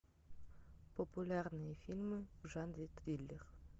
популярные фильмы в жанре триллер